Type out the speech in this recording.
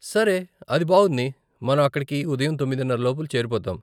సరే, అది బావుంది, మనం అక్కడికి ఉదయం తొమ్మిదిన్నరలోపు చేరిపోతాం.